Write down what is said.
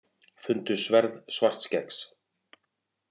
Fundu sverð Svartskeggs